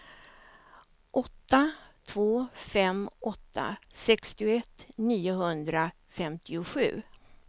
åtta två fem åtta sextioett niohundrafemtiosju